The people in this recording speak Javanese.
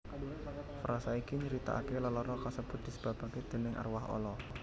Frasa iki nyritaake lelara kasebut disebabke déning arwah ala